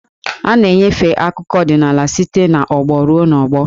A na-enyefe akụkọ ọdịnaala site n'ọgbọ ruo n'ọgbọ.